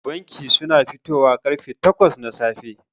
Bankin suna fitowa karfe takwas na safe.